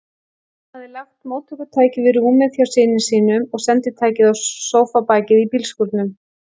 Hann hafði lagt móttökutækið við rúmið hjá syni sínum og senditækið á sófabakið í bílskúrnum.